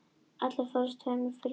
Allir fórust í tveimur flugslysum